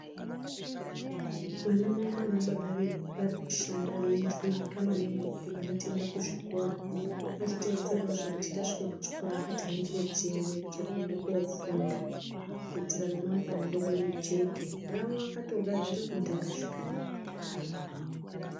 Vana mai nana baba vedu vari kushanda veijuwuka maningi kuti vana tiende kuzvikora ngatiteedzerewozve kuti tasvike kuchikora ngatihambire chimwe chekuende kofunda kuitire remangwana redu rijeke rawo vakatogadzira kudhara zvikanaka.